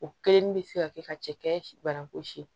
O kelenni bɛ se ka kɛ ka cɛkɛ banko si